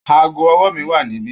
Aago ọwọ́ mi wá níbí